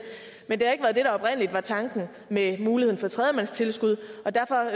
var ikke var tanken med muligheden for tredjemandstilskud og derfor